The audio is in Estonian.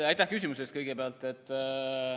Aitäh küsimuse eest!